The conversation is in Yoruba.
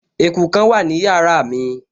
Eku kan wà ní yàrá mi